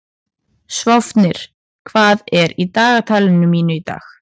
Sváfnir, hvað er í dagatalinu mínu í dag?